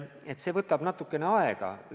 Aga see võtab natukene aega.